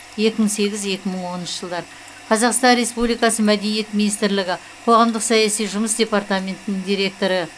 екі мың сегіз екі мың оныншы жылдар қазақстан республикасы мәдениет министрлігі қоғамдық саяси жұмыс департаментінің директоры